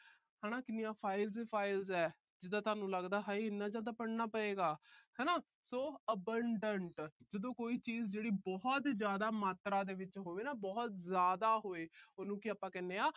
ਹਨਾ ਕਿੰਨੀਆਂ files ਈ files ਆ। ਜਿਦਾਂ ਤੁਹਾਨੂੰ ਲੱਗਦਾ ਹਾਏ ਇੰਨਾ ਜਿਆਦਾ ਪੜ੍ਹਨਾ ਪਏਗਾ ਹਨਾ। so abandoned ਜਦੋਂ ਕੋਈ ਚੀਜ ਬਹੁਤ ਜਿਆਦਾ ਮਾਤਰਾ ਵਿਚ ਹੋਵੇ ਨਾ, ਬਹੁਤ ਜਿਆਦਾ ਹੋਵੇ। ਉਹਨੂੰ ਕੀ ਆਪਾ ਕਹਿੰਦੇ ਆ